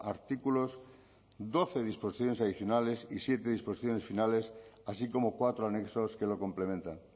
artículos doce disposiciones adicionales y siete disposiciones finales así como cuatro anexos que lo complementan